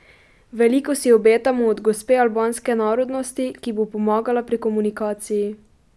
Veliko si obetamo od gospe albanske narodnosti, ki bo pomagala pri komunikaciji.